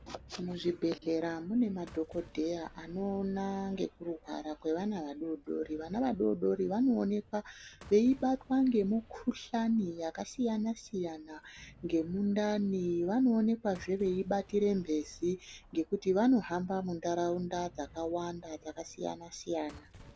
Muzvibhedhlera mune madhokodheya anoona ngezvekurwara kweana adoodori. Vana vadodori vanoonekwa veibatwa ngemikuhlani yakasiyana siyana ngemundani. Vanowanikwazve veibatire mhezi ngekuti vanohamba munharaunda dzakawanda dzakasiyana siyana.